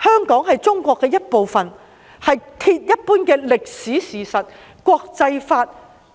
香港是中國的一部分，這是鐵一般的歷史事實，國際法、《